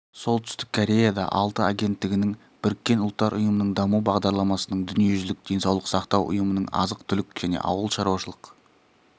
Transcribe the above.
солтүстік кореяда алты агенттігінің біріккен ұлттар ұйымының даму бағдарламасының дүниежүзілік денсаулық сақтау ұйымының азық-түлік және ауылшаруашылық